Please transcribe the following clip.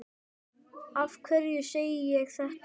Af hverju segi ég þetta?